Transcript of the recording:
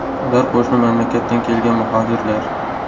Ular qo‘shni mamlakatdan kelgan muhojirlar.